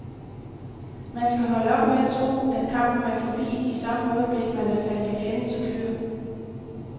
Man skal holde op med at tro, at kampen er forbi i samme øjeblik, man er faldet i fjendens klør.